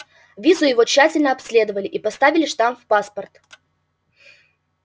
визу его тщательно обследовали и поставили штамп в паспорт